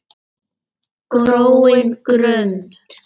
gróin grund!